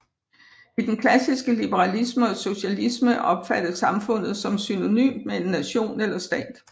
I den klassiske liberalisme og socialisme opfattes samfundet som synonymt med en nation eller stat